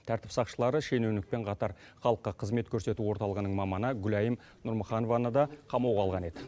тәртіп сақшылары шенеунікпен қатар халыққа қызмет көрсету орталығынының маманы гүлайым нұрмұханованы да қамауға алған еді